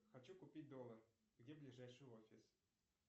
хочу купить доллар где ближайший офис